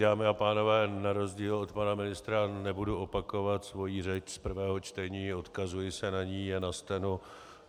Dámy a pánové, na rozdíl od pana ministra nebudu opakovat svoji řeč z prvého čtení, odkazuji se na ni a na steno.